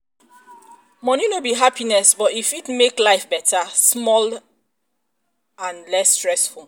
moni no be happiness um but e fit make life better um small and um less stressful.